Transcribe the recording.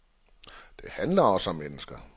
Det handler også om mennesker.